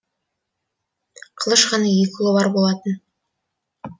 қылыш ханның екі ұлы бар болатын